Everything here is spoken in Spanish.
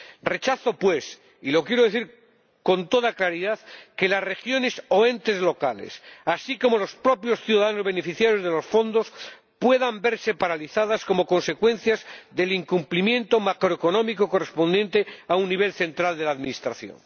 Rechazo, pues, y lo quiero decir con toda claridad, que las regiones o entes locales —así como los propios ciudadanos beneficiarios de los fondos— puedan verse paralizadas como consecuencia del incumplimiento macroeconómico correspondiente a un nivel central de la Administración.